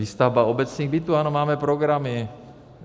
Výstavba obecních bytů - ano, máme programy.